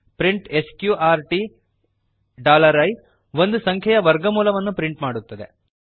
print sqrt i ಒಂದು ಸಂಖ್ಯೆಯ ವರ್ಗಮೂಲವನ್ನು ಪ್ರಿಂಟ್ ಮಾಡುತ್ತದೆ